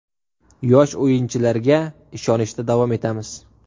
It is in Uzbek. Yosh o‘yinchilarga ishonishda davom etamiz.